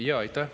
Aitäh!